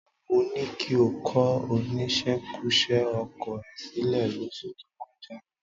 Mo ní kí o kọ oníṣekúṣe ọkọ ẹ sílẹ̀ lóṣù tó kọjá